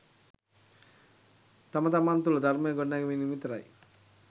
තම තමන් තුළ ධර්මය ගොඩනැගීමෙන් විතරයි.